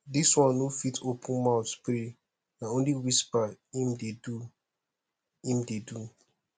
dis one no fit open mout pray na only whisper im dey do im dey do